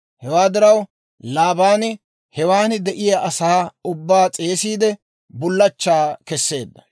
Hewaa diraw Laabaani hewaan de'iyaa asaa ubbaa s'eesiide, bullachchaa keseedda.